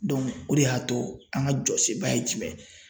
Dɔnku o de y'a to an ka jɔsenba ye jumɛn ye